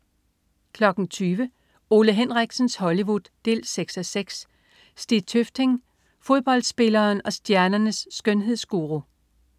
20.00 Ole Henriksens Hollywood 6:6. Stig Tøfting. Fodboldspilleren og stjernernes skønhedsguru